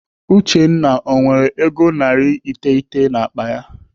Uchenna ọ nwere ego narị iteghete n'akpa ya?